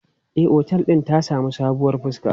E, otel din ta sami sabuwar fuska.